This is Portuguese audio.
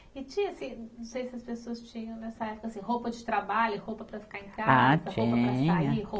E tinha assim, não sei se as pessoas tinham, nessa época assim, roupa de trabalho, roupa para ficar em casa. Ah, tinha. Roupa para sair